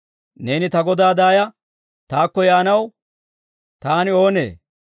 Neeni ta Godaa daaya taakko yaanaw taani oonee?